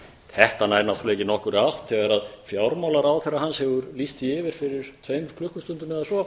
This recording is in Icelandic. þetta nær náttúrlega ekki nokkurri átt þegar fjármálaráðherra hans hefur lýst því yfir fyrir tveim klukkustundum eða svo